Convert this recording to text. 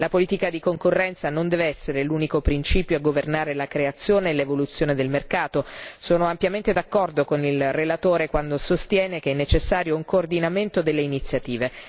La politica di concorrenza non dev'essere l'unico principio a governare la creazione e l'evoluzione del mercato sono ampiamente d'accordo con il relatore quando sostiene che è necessario un coordinamento delle iniziative.